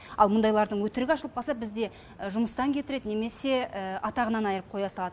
ал мұндайлардың өтірігі ашылып жатса бізде жұмыстан кетіреді немесе атағынан айырып қоя салады